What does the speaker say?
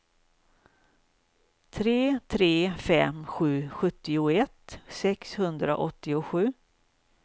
tre tre fem sju sjuttioett sexhundraåttiosju